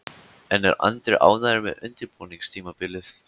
En er Andri ánægður með undirbúningstímabilið?